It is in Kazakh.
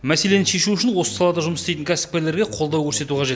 мәселені шешу үшін осы салада жұмыс істейтін кәсіпкерлерге қолдау көрсету қажет